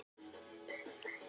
Utanum endalaust gat.